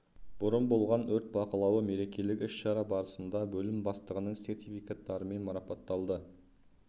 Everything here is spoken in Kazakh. бұрын болған өрт бақылауы мерекелік іс-шара барысында бөлім бастығының сертификаттарымен марапатталды